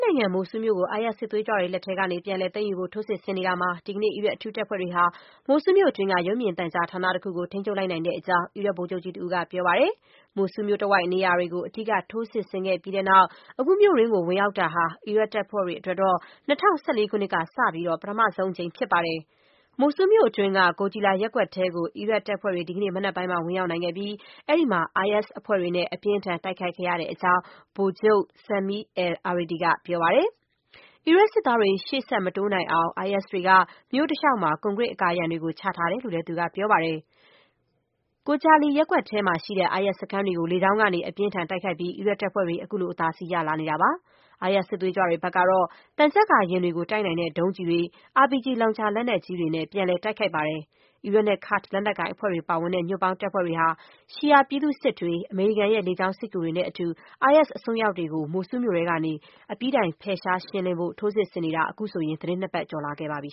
နိုင်ငံ မိုဆူးလ်မြို့ကို IS စစ်သွေးကြွတွေလက်ထဲကနေ ပြန်လည် သိမ်းယူဖို့ ထိုးစစ်ဆင်နေတာမှာ ဒီကနေ့ အီရတ်အထူးတပ်ဖွဲ့တွေဟာ မိုဆူးလ်မြို့တွင်းက ရုပ်မြင်သံကြားဌာနတခုကို ထိန်းချုပ်လိုက်တဲ့အကြောင်း အီရတ်ဗိုလ်ချုပ်ကြီးတဦးက ပြောပါတယ်။ မိုဆူးလ်မြို့တဝိုက် နေရာတွေကို အဓိက ထိုးစစ်ဆင်ခဲ့ပြီးတဲ့နောက် အခုမြို့တွင်းကို ဝင်ရောက်တာဟာ အီရတ်တပ်ဖွဲ့တွေအတွက် ၂၀၁၄ ခုနှစ်ကစပြီး ပထမဆုံးအကြိမ် ဖြစ်ပါတယ်။ မိုဆူးလ်မြို့တွင်းက Gojali ရပ်ကွက်ထဲကို အီရပ်တပ်ဖွဲ့တွေ ဒီကနေ့ မနက်ပိုင်းမှာ ဝင်ရောက်နိုင်ခဲ့ပြီး အဲဒီမှာ IS တွေနဲ့ အပြင်းအထန် တိုက်ခိုက်ခဲ့ရတဲ့အကြောင်း ဗိုလ်ချုပ် Sami al-Aridi က ပြောပါတယ်။ အီရတ်စစ်သားတွေ ရှေ့ဆက် မတိုးနိုင်အောင် IS တွေက မြို့တလျှောက်မှာ ကွန်ဂရစ်အကာအရံတွေ ချထားတယ်လို့လည်း သူက ပြောပါတယ်။ Gojali ရပ်ကွက်ထဲမှာရှိတဲ့ IS စခန်းတွေကို လေကြောင်းကနေ အပြင်းအထန် တိုက်ခိုက်ပြီး အီရတ်တပ်ဖွဲ့တွေ ခုလို အသာစီးရလာနေတာပါ။ IS စစ်သွေးကြွတွေ ဘက်ကတော့ သံချပ်ကာယာဉ်တွေကို တိုက်နိုင်တဲ့ ဒုံးကျည်တွေ၊ RPG လောင်ချာ လက်နက်ကြီးတွေနဲ့ ပြန်လည် တိုက်ခိုက်ခဲ့ပါတယ်။ အီရတ်နဲ့ ကာ့ဒ် လက်နက်ကိုင်အဖွဲ့တွေပါဝင်တဲ့ ညွှန့်ပေါင်းတပ်ဖွဲ့တွေဟာ ရှီအာ ပြည်သူ့စစ်တွေ၊ အမေရိကန်ရဲ့ လေကြောင်း စစ်ကူတွေနဲ့ အတူ IS အစွန်းရောက်တွေကို မိုဆူးမြို့ထဲကနေ ရှင်းလင်းဖယ်ရှားဖို့ ထိုးစစ်ဆင်နေတာ သီတင်းနှစ်ပတ်ကျော် လာခဲ့ပြီ